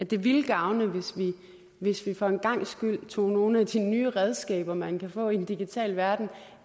det ville gavne hvis vi hvis vi for en gangs skyld tog nogle af de nye redskaber man kan få i den digitale verden